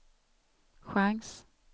chans